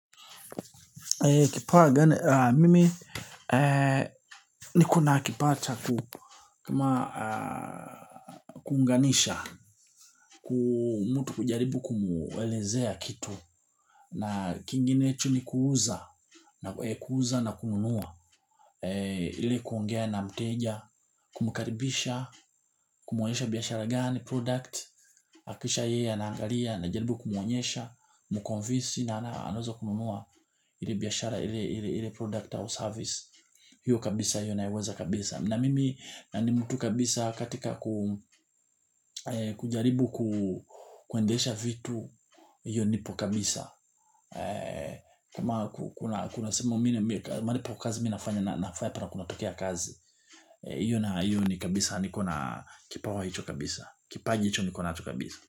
Mimi niko na kipawa cha kukama kuunganisha, ku mtu kujaribu kumuelezea kitu na kinginecho ni kuuza na kuuza na kununua ili kuongea na mteja, kumkaribisha, kumuonyesha biashara gani product na kisha yeye anaangalia najaribu kumuonyesha, mukonvinsi na anaweza kununua ile biashara ile product au service hiyo kabisa hiyo naiweza kabisa na mimi na ni mtu kabisa katika kujaribu kuendesha vitu hiyo nipo kabisa kama kuna kuna sehemu mimi malipo ya kazi mi nafanya nafanya pahali kunatokea kazi hiyo na hiyo ni kabisa niko na kipawa hicho kabisa kipaji hicho niko nacho kabisa.